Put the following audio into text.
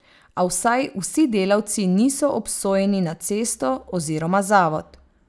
A vsaj vsi delavci niso obsojeni na cesto oziroma zavod.